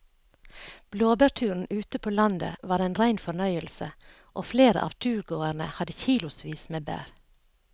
Blåbærturen ute på landet var en rein fornøyelse og flere av turgåerene hadde kilosvis med bær.